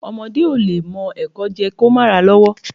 Ọmọdé o lẹ mo ẹ́kọ jé, ki o ma ra lọwò